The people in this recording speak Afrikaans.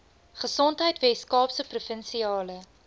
gesondheid weskaapse provinsiale